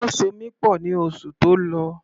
Wọ́n so mi pọ̀ ní oṣù tó lọ.